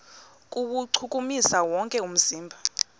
kuwuchukumisa wonke umzimba